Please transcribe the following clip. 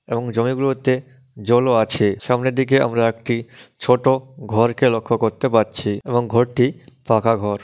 এবং জমিগুলোতে জলও আছে সামনের দিকে আমরা একটি ছোট ঘরকে লক্ষ্য করতে পারছি এবং ঘরটি পাকা ঘর।